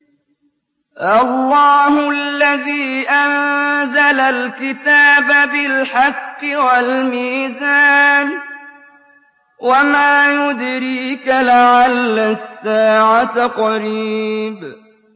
اللَّهُ الَّذِي أَنزَلَ الْكِتَابَ بِالْحَقِّ وَالْمِيزَانَ ۗ وَمَا يُدْرِيكَ لَعَلَّ السَّاعَةَ قَرِيبٌ